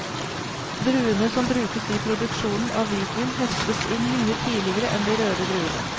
Druene som brukes i produksjonen av hvitvin høstes inn mye tidligere enn de røde druene.